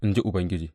in ji Ubangiji.